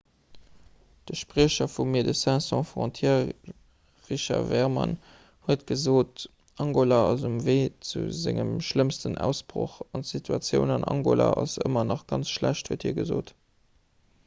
de spriecher vu médecins sans frontières richard veerman huet gesot angola ass um wee zu sengem schlëmmsten ausbroch an d'situatioun an angola ass ëmmer nach ganz schlecht huet hie gesot